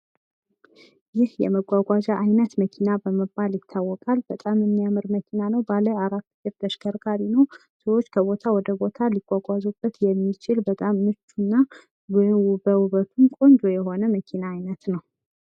ይህ የመጓጓዣ አይነት መኪና በመባል ይታወቃል። በጣም የሚያምር መኪና ነው። ባለበአራት እግር ተሽከርካሪ ነው። ሰዎች ከቦታ ወደ ቦታ ሊጓጓዙበት የሚችል በጣም ምቹ እና በውበቱ ቆንጆ የሆነ መኪና አይነት ነው።